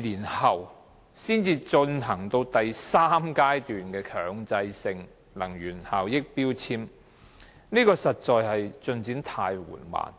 年後，才進行第三階段的強制性標籤計劃，進展實在得太緩慢。